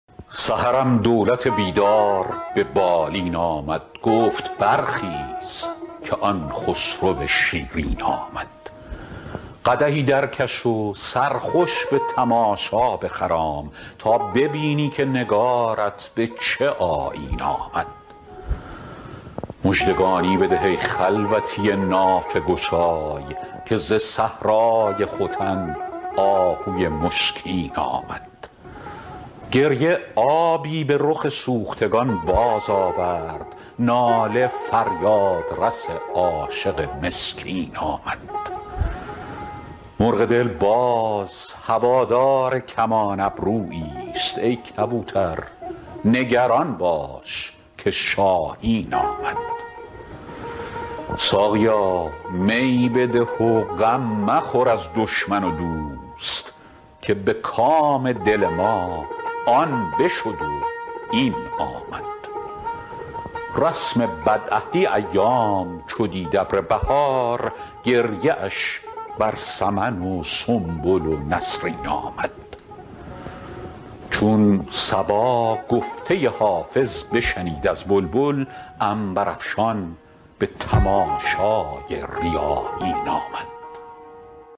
سحرم دولت بیدار به بالین آمد گفت برخیز که آن خسرو شیرین آمد قدحی درکش و سرخوش به تماشا بخرام تا ببینی که نگارت به چه آیین آمد مژدگانی بده ای خلوتی نافه گشای که ز صحرای ختن آهوی مشکین آمد گریه آبی به رخ سوختگان بازآورد ناله فریادرس عاشق مسکین آمد مرغ دل باز هوادار کمان ابروییست ای کبوتر نگران باش که شاهین آمد ساقیا می بده و غم مخور از دشمن و دوست که به کام دل ما آن بشد و این آمد رسم بدعهدی ایام چو دید ابر بهار گریه اش بر سمن و سنبل و نسرین آمد چون صبا گفته حافظ بشنید از بلبل عنبرافشان به تماشای ریاحین آمد